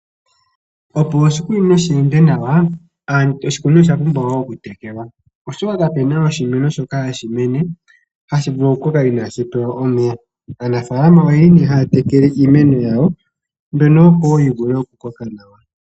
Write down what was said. Opo oshikunino shi ende nawa, oshikunino osha pumbwa wo okutekelwa, oshoka ka pu na oshimeno shoka hashi mene hashi vulu okukala inaashi pewa omeya. Aanafalama oye li nee haya tekele iimeno yawo mbyono, opo wo yi vule okukoka nawa.